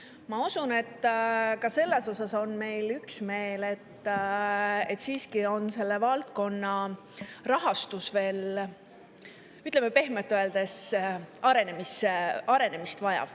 Ma usun, et ka selles osas on meil üksmeel, et selle valdkonna rahastus vajab veel pehmelt öeldes arendamist.